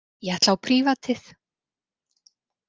Ég ætla á prívatið.